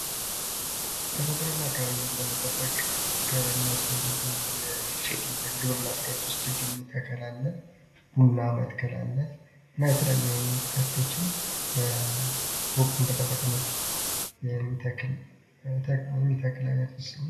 ተፈጥሮን እና አካባቢን ለመጠበቅ ከሚያስፈልጉ ግብር ችግኝ ተከላ አለ፣ ቡና መትከል አለ። እና የተለያዩ ተክሎችን ወቅቱን በጠበቀ መልኩ የሚተክል አይነት ነው።